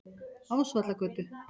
Ásvallagötu